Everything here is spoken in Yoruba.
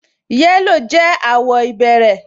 Yẹ́lò jẹ́ àwọ̀ ìbẹ̀rẹ̀